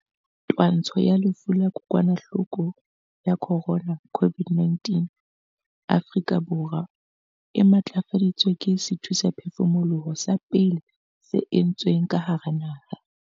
Twantsho ya lefu la kokwanahloko ya corona, COVID-19, Afrika Borwa e matlafaditswe ke sethusaphefumoloho sa pele se entsweng ka hara naha.